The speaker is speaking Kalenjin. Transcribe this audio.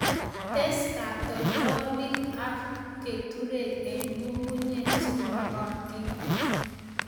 tes katoltolik ak keturek eng' ngungnyek che magatin